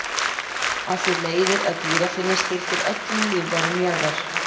af því leiðir að gíraffinn er skyldur öllum lífverum jarðar!